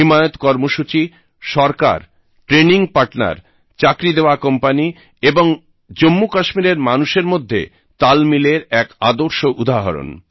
হিমায়ত কর্মসূচী সরকার training partner চাকরি দেওয়া কোম্পানি এবং জম্মুকাশ্মীরের মানুষের মধ্যে তালমিলের এক আদর্শ উদাহরণ